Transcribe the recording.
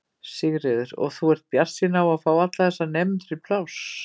Sigríður: Og þú ert bjartsýn á að fá fyrir alla þessa nemendur pláss?